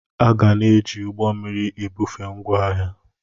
A ga na-eji ụgbọ mmiri ebufe ngwaahịa.